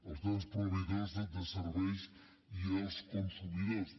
els grans proveïdors de serveis i els consumidors